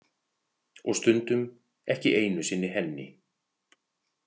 Og stundum ekki einu sinni henni.